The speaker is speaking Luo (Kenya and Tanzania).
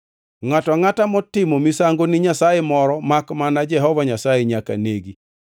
“Ngʼato angʼata motimo misango ni nyasaye moro makmana Jehova Nyasaye nyaka negi.